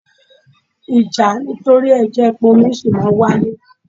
Ìjà nítorí ẹ jẹ̀ ń pọn omi sì máa ń wáyé